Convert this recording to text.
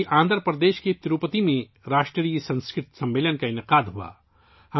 وہیں آندھرا پردیش کے تروپتی میں 'قومی سنسکرت کانفرنس' کا انعقاد کیا گیا